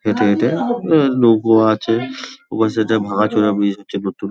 যেতে যেতে আঁ নৌকো আছে ওপাশে একটা ভাঙা চোরা ব্রিজ আছে নতুন --